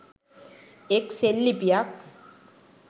එක් සෙල්ලිපියක්